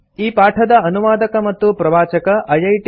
ಈ ಪಾಠದ ಅನುವಾದಕ ಮತ್ತು ಪ್ರವಾಚಕ ಐಐಟಿ